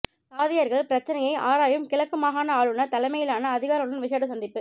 தாதியர்கள் பிரச்சினையை ஆராயும் கிழக்கு மாகாண ஆளுனர் தலைமையிலான அதிகாரிகளுடன் விஷேட சந்திப்பு